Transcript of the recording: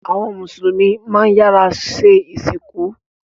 Awọn Musulumi mán iyàra sẹ́ isinku